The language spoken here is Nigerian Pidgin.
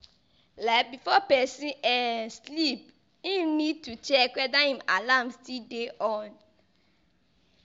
Like before person um sleep im need to check weda im alarm still dey on